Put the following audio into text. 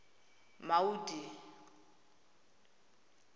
maudi